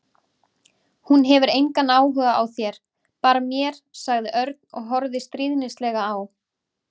Hún hefur engan áhuga á þér, bara mér sagði Örn og horfði stríðnislega á